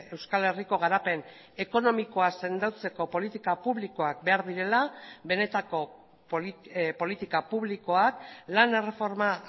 euskal herriko garapen ekonomikoa sendotzeko politika publikoak behar direla benetako politika publikoak lan erreforma